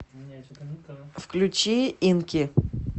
включи инки